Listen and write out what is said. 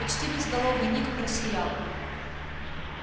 почти безголовый ник просиял